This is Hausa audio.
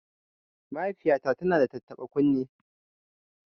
Mahaifiyata tana da tattaɓa kunne